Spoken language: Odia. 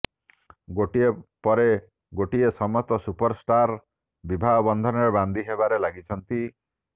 ଗୋଟିଏ ପରେ ଗୋଟିଏ ସମସ୍ତ ସୁପରଷ୍ଟାର ବିବାହ ବନ୍ଧନରେ ବାନ୍ଧି ହେବାରେ ଲାଗିଛନ୍ତି